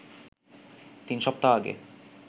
তিন সপ্তাহ আগে